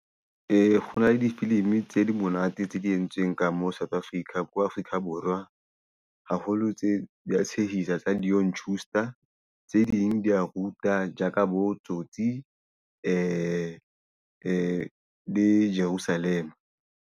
Ho kgona le difilimi tse di monate tse di entsweng ka moo South Africa ko Afrika Borwa. Haholo tse dia tshehisa tsa Leon Schuster, tse ding di a ruta ja ka bo Tsotsi, di be le Jerusalema.